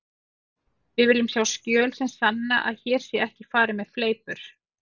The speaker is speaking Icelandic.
Við viljum sjá skjöl sem sanna að hér sé ekki farið með fleipur.